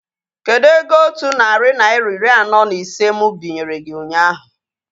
Kedụ ego otu narị naira iri anọ na ise mụ binyere gị ụnyaahụ?